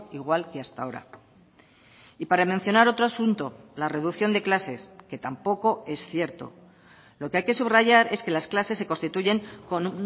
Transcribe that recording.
igual que hasta ahora y para mencionar otro asunto la reducción de clases que tampoco es cierto lo que hay que subrayar es que las clases se constituyen con